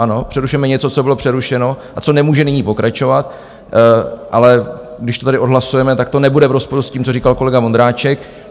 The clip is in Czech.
Ano, přerušujeme něco, co bylo přerušeno a co nemůže nyní pokračovat, ale když to tady odhlasujeme, tak to nebude v rozporu s tím, co říkal kolega Vondráček.